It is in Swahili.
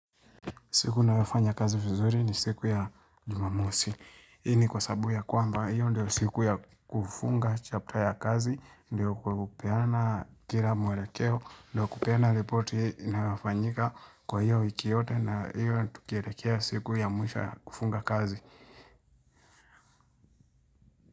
Siku ninayofanya kazi vizuri ni siku ya jumamosi. Hii ni kwa sababu ya kwamba, hiyo ndio siku ya kufunga chapta ya kazi, ndio kupeana kila mwerekeo, ndio kupeana ripoti inayofanyika kwa hiyo wiki yote na hiyo tukierekea siku ya mwisho ya kufunga kazi.